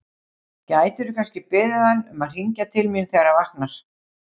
Gætirðu kannski beðið hann um að hringja til mín þegar hann vaknar?